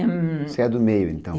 Hum... Você é do meio, então?